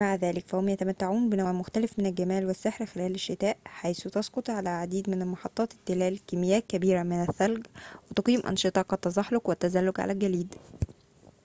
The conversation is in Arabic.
مع ذلك فهم يتمتعون بنوع مختلف من الجمال والسحر خلال الشتاء حيث تسقط على العديد من محطات التلال كميات كبيرة من الثلج وتقيم أنشطة كالتزحلق والتزلج على الجليد